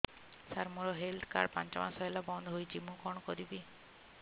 ସାର ମୋର health card ପାଞ୍ଚ ମାସ ହେଲା ବଂଦ ହୋଇଛି ମୁଁ କଣ କରିବି